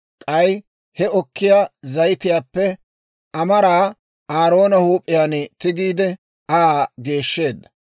K'ay he okkiyaa zayitiyaappe amaraa Aaroona huup'iyaan tigiide, Aa geeshsheedda.